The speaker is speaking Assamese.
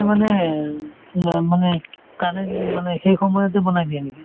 মানে মানে currently মানে সেই সময়তে বনাই দিয়ে নেকি ?